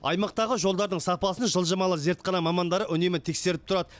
аймақтағы жолдардың сапасын жылжымалы зертхана мамандары үнемі тексеріп тұрады